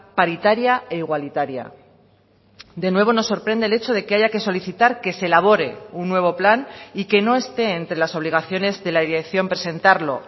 paritaria e igualitaria de nuevo nos sorprende el hecho de que haya que solicitar que se elabore un nuevo plan y que no esté entre las obligaciones de la dirección presentarlo